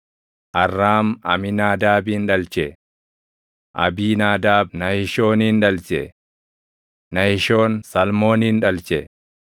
Arraam Amiinaadaabin dhalche; Abiinaadaab Nahishoonin dhalche; Nahishoon Salmoonin dhalche;